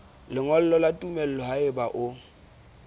lengolo la tumello haeba o